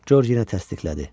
Corc yenə təsdiqlədi.